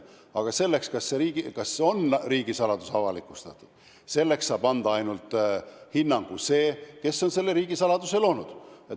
Aga sellele, kas riigisaladus on avalikustatud, saab anda hinnangu ainult see, kes on selle riigisaladuse loonud.